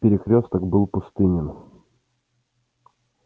перекрёсток был пустынен